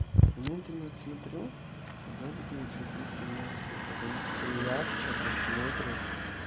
медленно смотрю вроде бы черты лица мягкие потом хуяк чето смотришь